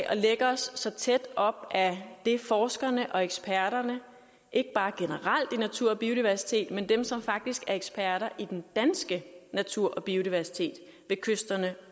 at lægge os så tæt op ad det forskerne og eksperterne ikke bare generelt i natur og biodiversitet men også dem som faktisk er eksperter i den danske natur og biodiversitet ved kysterne